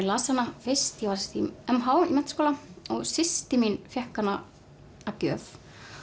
las hana fyrst ég var í m h í menntaskóla og systir mín fékk hana að gjöf